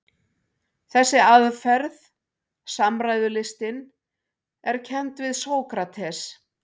Þessi aðferð, samræðulistin, er kennd við Sókrates.